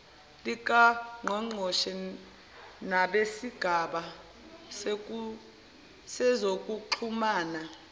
likangqongqoshe nabesigaba sezokuxhumana